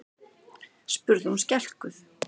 spurði hún skelkuð.